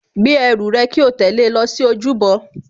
Gbé ẹrù rẹ kí o tẹ̀lé lọ sí ojúbọ